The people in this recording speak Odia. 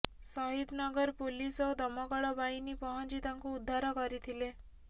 ଶହୀଦନଗର ପୁଲିସ ଓ ଦମକଳବାହିନୀ ପହଂଚି ତାଙ୍କୁ ଉଦ୍ଧାର କରିଥିଲେ